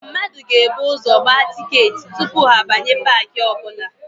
Mmadụ ga-ebu ụzọ gbaa tịketị tupu ha abanye paakị ọbụla.